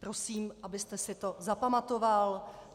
Prosím, abyste si to zapamatoval.